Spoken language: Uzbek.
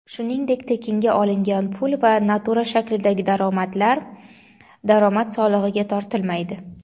shuningdek tekinga olingan pul va natura shaklidagi daromadlar daromad solig‘iga tortilmaydi.